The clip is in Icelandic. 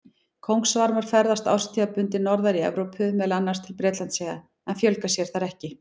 Kóngasvarmar ferðast árstíðabundið norðar í Evrópu, meðal annars til Bretlandseyja, en fjölga sér þar ekki.